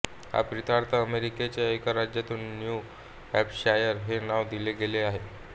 ह्या प्रित्यर्थ अमेरिकेच्या एका राज्याला न्यू हॅम्पशायर हे नाव दिले गेले आहे